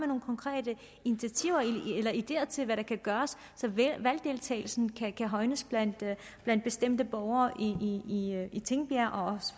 nogle konkrete initiativer eller ideer til hvad der kan gøres så valgdeltagelsen kan højnes blandt blandt bestemte borgere i tingbjerg